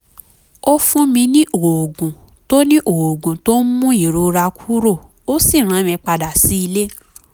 ó fún mi ní oògùn tó ní oògùn tó ń mú ìrora kúrò ó sì rán mi padà sílé